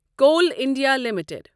Koul India limited